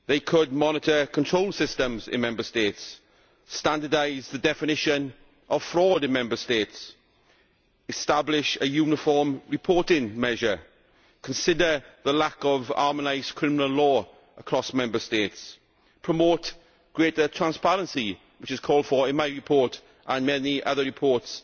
They could monitor control systems in Member States, standardise the definition of fraud in Member States, establish a uniform reporting measure, consider the lack of harmonised criminal law across Member States, promote greater transparency which is called for in my report and many other reports